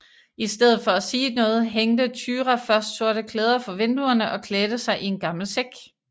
I stedet for at sige noget hængte Thyra først sorte klæder for vinduerne og klædte sig i en gammel sæk